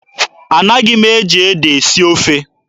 Anaghị m eji ede esi ofe.